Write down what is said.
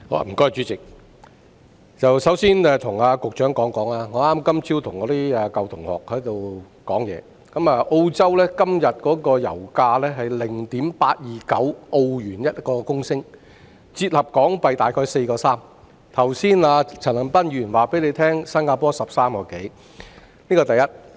代理主席，我首先要跟局長說，我今天早上剛與舊同學討論，澳洲現時每公升油價是 0.829 澳元，折合約為 4.3 港元，陳恒鑌議員剛才告訴大家新加坡的油價是每公升約13元，這是第一點。